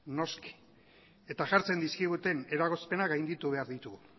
noski eta jartzen dizkiguten eragozpenak gainditu behar ditugu